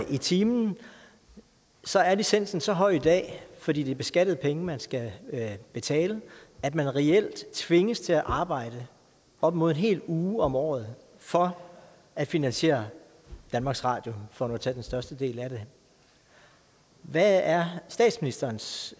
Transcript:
i timen så er licensen så høj i dag fordi det er beskattede penge man skal betale med at man reelt tvinges til at arbejde op mod en hel uge om året for at finansiere danmarks radio for nu at tage den største del af det hvad er statsministerens